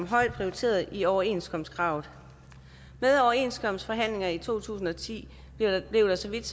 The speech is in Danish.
højt prioriteret i overenskomstkravet ved overenskomstforhandlingerne i to tusind og ti blev der så vidt